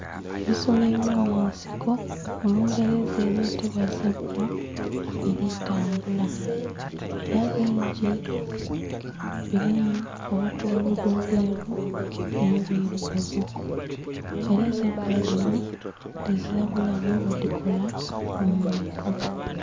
Ebisolo ebyomunsiko mulungereza ebyetebwa zebbula biritambula era bingi birimu obukuludho obweru n'obwirugavu era zebbula dhino ezira bulabe bwedhikola kumuntu.